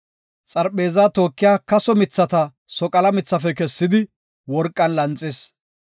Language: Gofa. Xarpheezaa tookiya kaso mithata soqala mithafe kessidi, worqan lanxis.